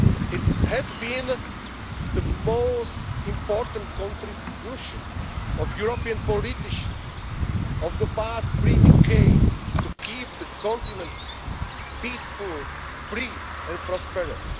of the Berlin Wall. It has been the most important contribution of European politicians of the past three decades to keep the continent peaceful,